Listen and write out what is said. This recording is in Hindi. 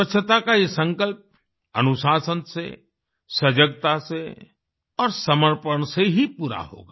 स्वच्छता का ये संकल्प अनुशासन से सजगता से और समर्पण से ही पूरा होगा